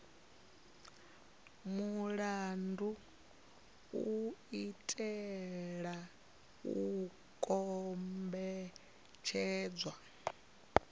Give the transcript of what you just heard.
mulandu u itela u kombetshedza